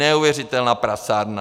Neuvěřitelná prasárna!